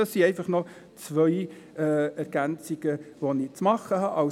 Das sind einfach noch zwei Ergänzungen, die ich zu machen hatte.